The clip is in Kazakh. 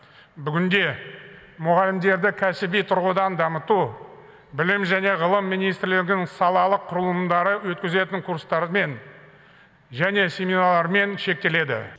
бүгінде мұғалімдерді кәсіби тұрғыдан дамыту білім және ғылым министрлігінің салалық құрылымдары өткізетін курстармен және семинарлармен шектеледі